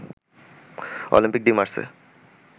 Olympic de Marseille